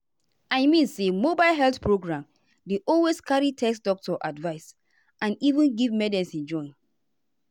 i mean say mobile health program dey always carry test doctor advice and even give medicine join.